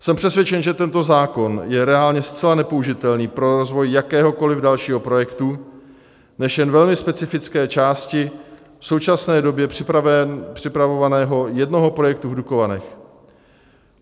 Jsem přesvědčen, že tento zákon je reálně zcela nepoužitelný pro rozvoj jakéhokoli dalšího projektu, než jen velmi specifické části v současné době připravovaného jednoho projektu v Dukovanech.